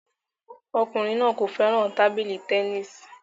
Ọkùnrin náà kò fẹ́ràn tábìlì tẹnisi